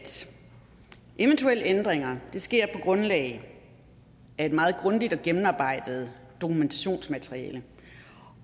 eventuelle ændringer sker på grundlag af et meget grundigt og gennemarbejdet dokumentationsmateriale